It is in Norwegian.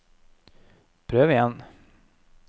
prøv igjen